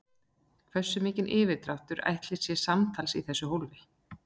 Hversu mikill yfirdráttur ætli sé samtals í þessu hólfi?